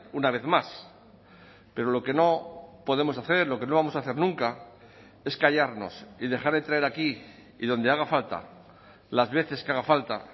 una vez más pero lo que no podemos hacer lo que no vamos a hacer nunca es callarnos y dejar de traer aquí y donde haga falta las veces que haga falta